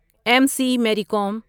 M C Mary Kom